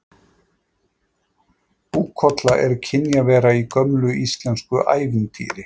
Búkolla er kynjavera í gömlu íslensku ævintýri.